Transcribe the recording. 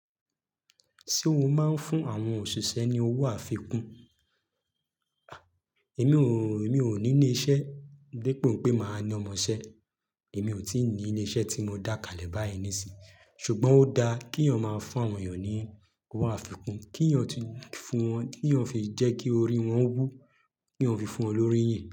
Ṣé o máa ń fún àwọn òṣìṣẹ́ ní owó àfikún? Èmi ò, èmi ò ní ilé-iṣẹ́, de po pé màá ní ọmọ-ṣẹ́. Èmi ò tí ì ní ilé-iṣẹ́ tí mo dá kalẹ̀ báyìí ní sì. Ṣùgbọ́n ó dá kí iyàn máa fún àwọn iyàn ní owó àfikún, kí iyàn ti fún wọn, kí iyàn fi jẹ́ kí orí wọn wù, kí iyan fi fún wọn lórí yín.